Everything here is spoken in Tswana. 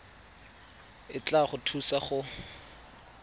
e tla go thusa go